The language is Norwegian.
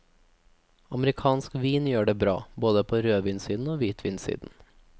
Amerikansk vin gjør det bra, både på rødvinssiden og hvitvinssiden.